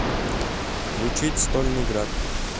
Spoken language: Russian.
включить стольный град